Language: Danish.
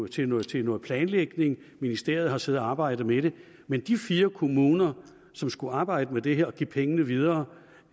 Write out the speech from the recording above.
til noget til noget planlægning ministeriet har siddet og arbejdet med det men de fire kommuner som skulle arbejde med det her og give pengene videre